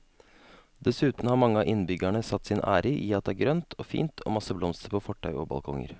Dessuten har mange av innbyggerne satt sin ære i at det er grønt og fint og masse blomster på fortau og balkonger.